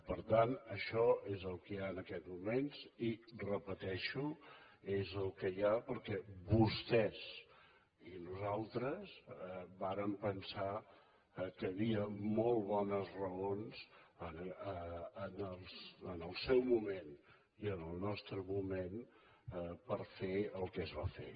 per tant això és el que hi ha en aquests moments i ho repeteixo és el que hi ha perquè vostès i nosaltres vàrem pensar que hi havia molt bones raons en el seu moment i en el nostre moment per fer el que es va fer